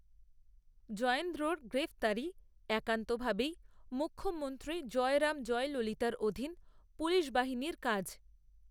জয়েন্দ্রর গ্রেফতারি একান্ত ভাবেই মুখ্যমন্ত্রী জয়রাম, জয়ললিতার অধীন পুলিশবাহিনীর কাজ